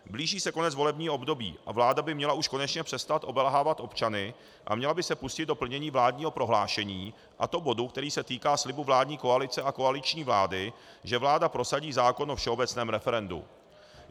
Blíží se konec volebního období a vláda by měla už konečně přestat obelhávat občany a měla by se pustit do plnění vládního prohlášení, a to bodu, který se týká slibu vládní koalice a koaliční vlády, že vláda prosadí zákon o všeobecném referendu.